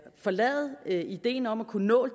forlade ideen om at kunne nå